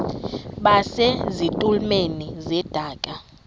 base zitulmeni zedaka